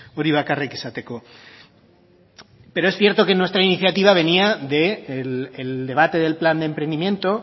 hori bakarrik esateko pero es cierto que nuestra iniciativa venía del debate del plan de emprendimiento